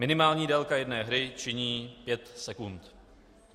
Minimální délka jedné hry činí pět sekund.